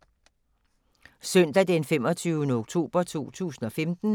Søndag d. 25. oktober 2015